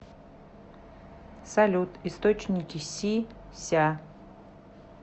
салют источники си ся